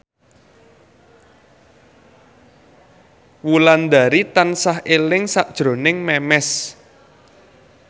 Wulandari tansah eling sakjroning Memes